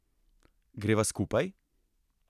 Greva skupaj?